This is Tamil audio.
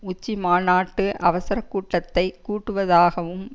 உச்சி மாநாட்டு அவசர கூட்டத்தை கூட்டுவதாகவும்